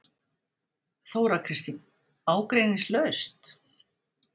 Þóra Kristín: Ágreiningslaust?